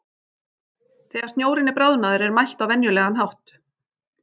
Þegar snjórinn er bráðnaður er mælt á venjulegan hátt.